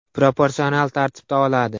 Proporsional tartibda oladi.